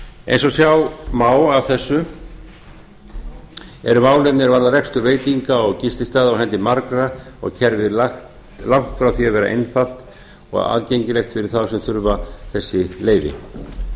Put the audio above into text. eins og sjá má af þessu eru málin að því er varðar rekstur veitinga og gististaða á hendi margra og kerfið langt frá því að vera einfalt og aðgengilegt fyrir þá sem þurfa þessi leyfi eins